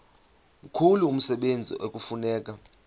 mkhulu umsebenzi ekufuneka